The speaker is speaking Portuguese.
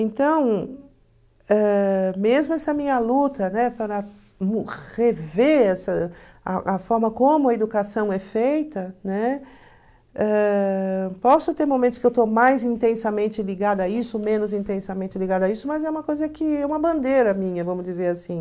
Então, ãh mesmo essa minha luta, né, para rever essa a a forma como a educação é feita, né, ãh posso ter momentos que eu estou mais intensamente ligada a isso, menos intensamente ligada a isso, mas é uma coisa que é uma bandeira minha, vamos dizer assim.